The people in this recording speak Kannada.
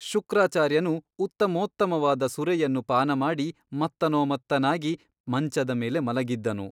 ಶುಕ್ರಾಚಾರ್ಯನು ಉತ್ತಮೋತ್ತಮವಾದ ಸುರೆಯನ್ನು ಪಾನಮಾಡಿ ಮತ್ತನೋ ಮತ್ತನಾಗಿ ಮಂಚದ ಮೇಲೆ ಮಲಗಿದ್ದನು.